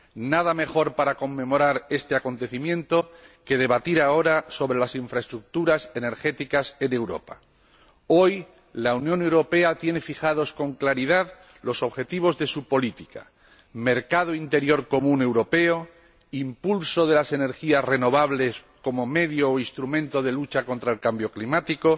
Nada mejor para conmemorar este acontecimiento que debatir ahora sobre las infraestructuras energéticas en Europa. Hoy, la Unión Europea tiene fijados con claridad los objetivos de su política mercado interior común europeo, impulso de las energías renovables como medio o instrumento de lucha contra el cambio climático,